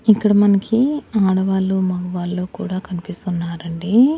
ఇక్కడ మనకీ ఆడవాళ్లు మగవాళ్ళు కూడా కనిపిస్తున్నారండి.